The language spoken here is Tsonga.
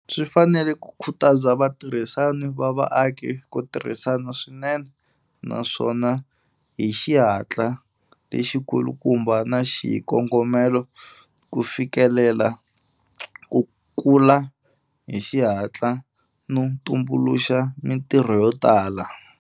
Swi fanele ku khutaza vatirhisani va vaaki ku tirhisana swinene naswona hi xihatla lexikulukumba na xikongomelo ku fikelela ku kula hi xihatla no tumbuluxa mitirho yo tala.